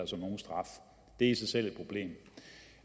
som nogen straf det er i sig selv et problem